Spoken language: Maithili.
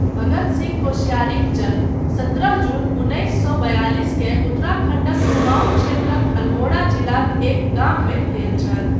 भगत सिंह कोश्यारीक जन्म सत्रह जून उन्नीस सौ बयालीस केँ उत्तराखण्डक कुमांऊँ क्षेत्रक अल्मोड़ा जिलाक एक गाममे भेल छल।